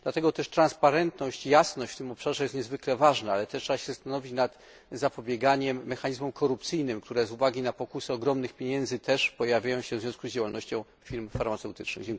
Dlatego też przejrzystość i jasność w tym obszarze jest niezwykle ważna, ale trzeba się również zastanowić nad zapobieganiem mechanizmom korupcyjnym, które z uwagi na pokusę ogromnych pieniędzy też pojawiają się w związku z działalnością firm farmaceutycznych.